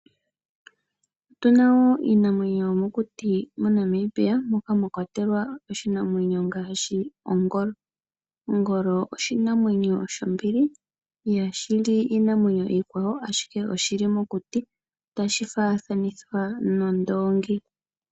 Otuna wo iinamwenyo yomokuti moNamibia mokwa mwa kwatelwa oshinamwenyo ngaashi ongolo. Ongolo oshinamwenyo shombili ihashi li iinamwenyo iikwawo ashike oshili mokuti tashi faathanithwa nondoongi.